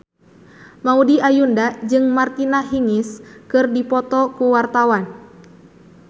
Maudy Ayunda jeung Martina Hingis keur dipoto ku wartawan